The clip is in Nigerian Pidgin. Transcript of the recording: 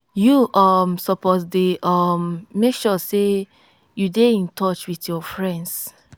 you um suppose dey um make sure sey you dey in touch wit your friends.